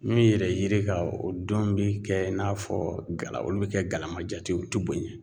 Min yɛrɛ yiri kan o denw bi kɛ i n'a fɔ gala olu bɛ kɛ galama jate u te boɲɛ.